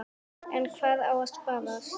En hvað á að sparast?